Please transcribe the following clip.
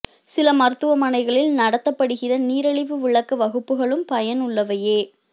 சில மருத்துவமனைகளில் நடத்தப்படுகிற நீரிழிவு விளக்க வகுப்புகளும் பயன் உள்ளவையே